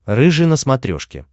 рыжий на смотрешке